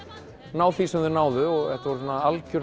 ná því sem þau náðu þetta voru algjör